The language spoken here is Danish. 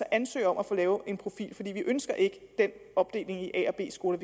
ansøge om at få lavet en profil for vi ønsker ikke den opdeling i a og b skoler